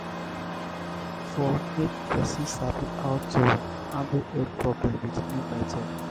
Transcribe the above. reflecting for make person sabi how to um handle old problem with new method